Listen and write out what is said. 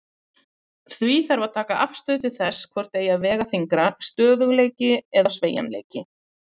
Því þarf að taka afstöðu til þess hvort eigi að vega þyngra, stöðugleiki eða sveigjanleiki.